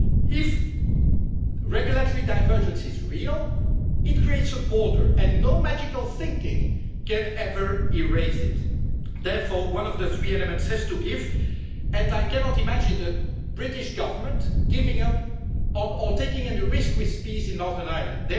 If regulatory divergence is real, it creates a border, and no magical thinking can ever erase it. Therefore, one of the three elements has to give, and I cannot imagine the British Government giving up on, or taking any risk with, peace in Northern Ireland.